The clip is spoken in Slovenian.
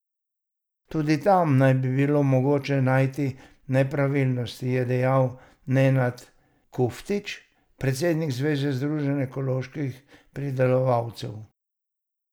Tudi tam naj bi bilo mogoče najti nepravilnosti, je dejal Nenad Kuftić, predsednik Zveze združenj ekoloških pridelovalcev.